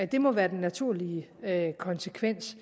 det må være den naturlige konsekvens